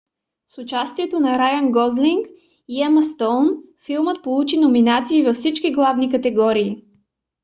с участието на райън гослинг и ема стоун филмът получи номинации във всички главни категории